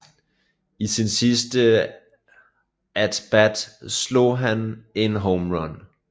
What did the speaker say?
I sin sidste at bat slog han en home run